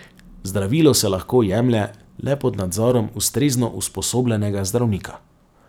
Zdravilo se lahko jemlje le pod nadzorom ustrezno usposobljenega zdravnika.